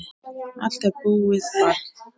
Allt er búið, barn.